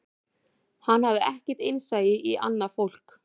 Hann hafði ekkert innsæi í annað fólk